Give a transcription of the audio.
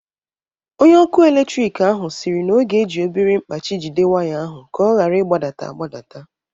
Onye ọkụ eletrik ahụ siri na ọ ga-eji obere mkpachị jide waya ahụ ka ọ ghara ịgbadata agbata-